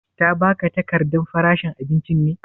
Ta ba ka takardan faranshi abincin ne?